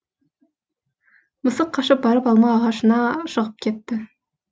мысық қашып барып алма ағашына шығып кетті